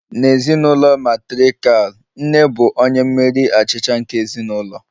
N'ezinụlọ matrirkal, nne bụ onye mmeri achịcha nke ezinụlọ